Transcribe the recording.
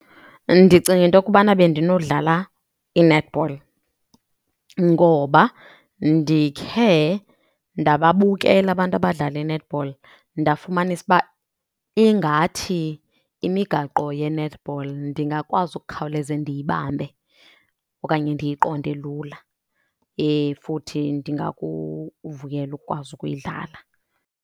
Ndicinga into kubana bendinodlala i-netball ngoba ndikhe ndababukela abantu abadlala i-netball ndafumanisa uba ingathi imigaqo ye-netball ndingakwazi ukukhawuleze ndiyibambe okanye ndiyiqonde lula. Futhi ndingakuvuyela ukukwazi ukuyidlala.